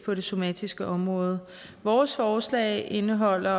på det somatiske område vores forslag indeholder